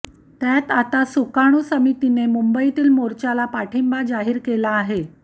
त्यात आता सुकाणू समितीने मुंबईतील मोर्चाल पाठिंबा जाहीर केला आहे